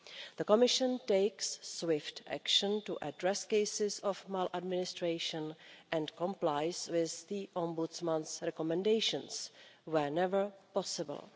The Commission takes swift action to address cases of maladministration and complies with the Ombudsman's recommendations whenever possible.